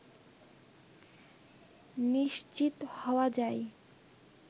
নিশ্চিত হওয়া যায়